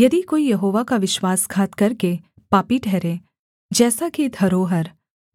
यदि कोई यहोवा का विश्वासघात करके पापी ठहरे जैसा कि धरोहर